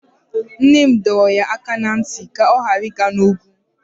Nne m dọrọ ya aka ná ntị ka ọ ghara ịga n'ugwu.